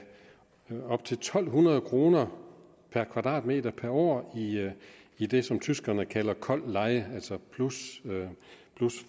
op til to hundrede kroner per kvadratmeter per år i i det som tyskerne kalder kold leje altså plus